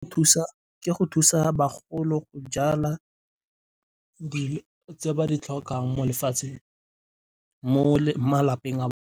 Ke go thusa bagolo go jala tse ba di tlhokang mo malapeng a .